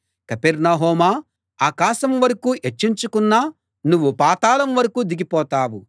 కపెర్నహూమా ఆకాశం వరకూ హెచ్చించుకున్నా నువ్వు పాతాళం వరకూ దిగిపోతావు